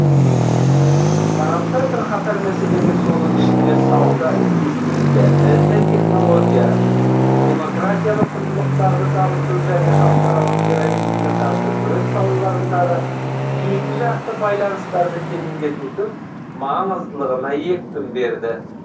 тараптар бірқатар мәселеге соның ішінде сауда инвестиция іт технология демократиялық құндылықтарды дамыту және халықаралық терроризмге қарсы күрес салаларындағы екіжақты байланыстарды тереңдетудің маңыздылығына екпін берді